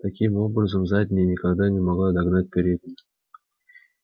таким образом задняя никогда не могла догнать переднюю